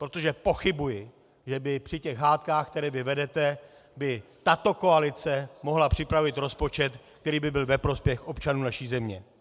Protože pochybuji, že by při těch hádkách, které vy vedete, by tato koalice mohla připravit rozpočet, který by byl ve prospěch občanů naší země.